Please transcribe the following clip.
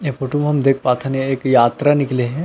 ए photo म हम देख पाथन एक यात्रा निकले है।